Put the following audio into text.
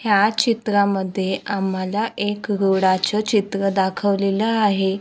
ह्या चित्रांमध्ये आम्हाला एक घोडाचे चित्र दाखवलेला आहे.